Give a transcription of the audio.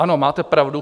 Ano, máte pravdu.